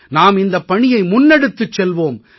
நாம் இந்தப் பணியை முன்னெடுத்துச் செல்வோம்